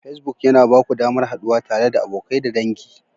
Facebook yana ba ku damar haɗuwa tare da abokai da dangi.